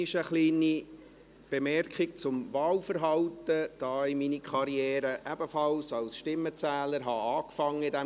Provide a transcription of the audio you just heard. Eine kleine Bemerkung zum Wahlverhalten, da ich meine Karriere ebenfalls als Stimmenzähler in diesem Grossen Rat begann: